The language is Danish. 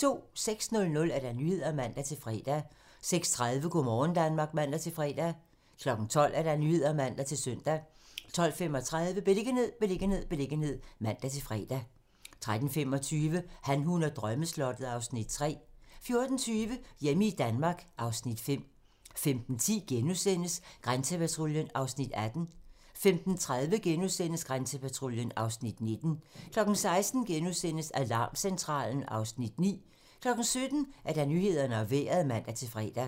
06:00: Nyhederne (man-fre) 06:30: Go' morgen Danmark (man-fre) 12:00: Nyhederne (man-søn) 12:35: Beliggenhed, beliggenhed, beliggenhed (man-fre) 13:25: Han, hun og drømmeslottet (Afs. 3) 14:20: Hjemme i Danmark (Afs. 5) 15:10: Grænsepatruljen (Afs. 18)* 15:30: Grænsepatruljen (Afs. 19)* 16:00: Alarmcentralen (Afs. 9)* 17:00: Nyhederne og Vejret (man-fre)